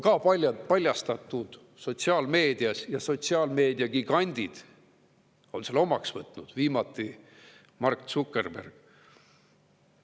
See on paljastatud ka sotsiaalmeedias ja sotsiaalmeediagigandid on selle omaks võtnud, viimati Mark Zuckerberg.